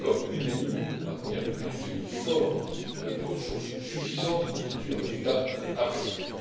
L'accord unanime de maintenir un FMI fort avec des ressources suffisantes constitue un résultat appréciable.